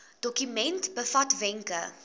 dokument bevat wenke